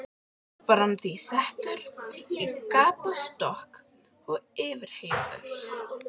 Var hann því settur í gapastokk og yfirheyrður.